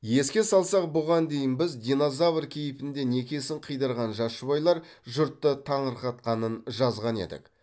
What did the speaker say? еске салсақ бұған дейін біз динозавр кейпінде некесін қидырған жас жұбайлар жұртты таңырқатқанын жазған едік